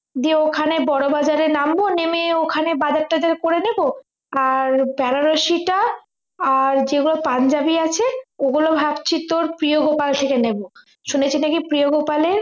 দিয়ে ওখানে বড় বাজারে নামবো নেমে ওখানে বাজারটাজার করে নেব আর বেনারসিটা আর যেগুলো পাঞ্জাবী আছে ও গুলো ভাবছি তোর প্রিয়গোপাল থেকে নেব শুনেছি নাকি প্রিয়গোপালের